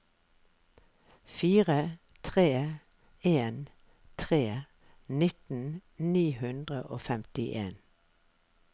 fire tre en tre nitten ni hundre og femtien